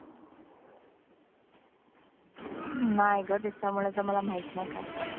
नाही ग, त्याच्याबद्दल तर मला माहित नाही काही.